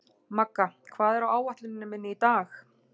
Magga, hvað er á áætluninni minni í dag?